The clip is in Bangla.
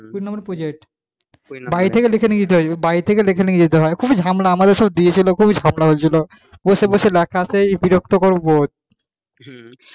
তিন no project বাড়ি থেকে লিখে নিয়ে যেতে হয় বাড়ি থেকে লিখে নিয়ে যেতে হয় খুবই ঝামেলা আমাদের সব দিয়ে ছিল খুবই ঝামেলা হয়েছিল বসে বসে লেখা সেই বিরক্তকর word